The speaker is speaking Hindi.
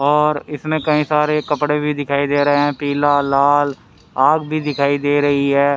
और इसमें कई सारे कपड़े भी दिखाई दे रहे हैं पीला लाल आग भी दिखाई दे रही है।